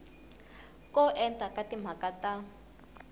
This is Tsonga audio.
ko enta ka timhaka ta